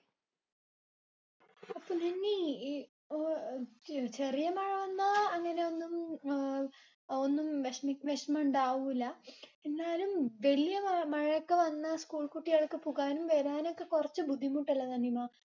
അപ്പൊ നിന്നീ ഈ അഹ് ചെറിയ മഴ വന്ന അങ്ങിനെ ഒന്നും അഹ് ഒന്നും വിഷമവിഷമം ഇണ്ടാവൂല. എന്നാലും വല്യ മഴമഴയൊക്കെ വന്ന school കുട്ടികൾക്ക് പോകാനും വരാനും ഒക്കെ കുറച്ച ബുദ്ധിമുട്ടല്ലേ നിനിമാ